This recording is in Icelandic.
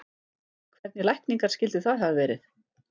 Hvernig lækningar skyldu það hafa verið?